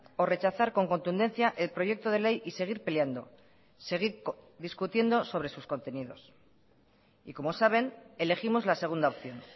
o rechazar con contundencia el proyecto de ley y seguir peleando seguir discutiendo sobre sus contenidos y como saben elegimos la segunda opción